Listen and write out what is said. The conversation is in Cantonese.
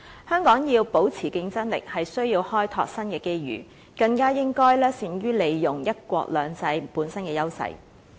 香港要保持競爭力，需要開拓新的機遇，更應該善於利用"一國兩制"本身的優勢。